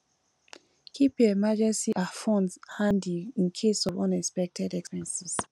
keep your emergency um fund handy in case of unexpected expenses